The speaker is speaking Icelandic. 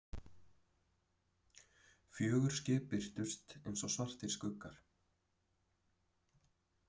Fjögur skip birtust einsog svartir skuggar.